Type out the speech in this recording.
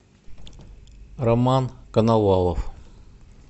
роман коновалов